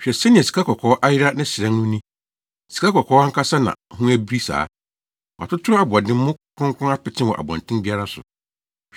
Hwɛ sɛnea sikakɔkɔɔ ayera ne hyerɛn no ni Sikakɔkɔɔ ankasa na ho abiri saa! Wɔatoto aboɔdemmo kronkron apete wɔ abɔnten biara so.